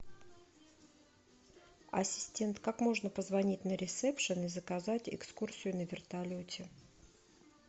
ассистент как можно позвонить на ресепшен и заказать экскурсию на вертолете